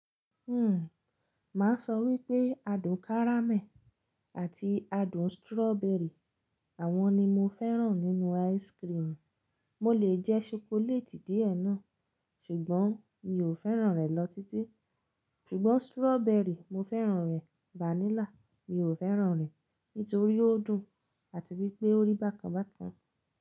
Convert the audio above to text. Hmm, ma sọ wípé adùn kárámẹ̀ àti adùn strawbery, àwọn ni mo fẹ́ràn nínú ice cream. Mo lè jẹ́ ṣokoléètì díẹ̀ náà, ṣùgbọ́n mi ò fẹ́ràn rẹ̀ lọ títí. Ṣùgbọ́n strawberry, mo fẹ́ràn rẹ̀. Vanilla, mi ò fẹ́ràn rẹ̀ nítorí ó dùn àti wípé ó rí bákan bákan.